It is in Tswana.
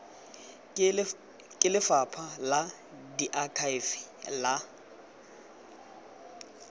ke lephata la diakhaefe la